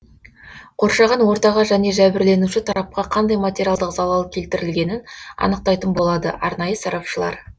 қоршаған ортаға және жәбірленуші тарапқа қандай материалдық залал келтірілгенін анықтайтын болады арнайы сарапшылар